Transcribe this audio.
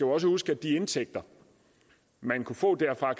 også huske at de indtægter man kan få derfra